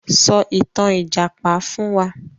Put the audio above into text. Sọ ìtàn Ìjàpá fún wa!